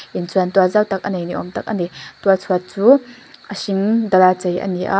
in chuan tuah zau tak a nei ni âwm tak a ni tual chhuat chu a hring dala chei a ni a--